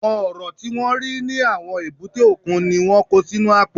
Àwọn Ọ̀rọ̀ tí wọ́n rí ní àwọn èbúté òkun ni wọ́n kó sínú àpò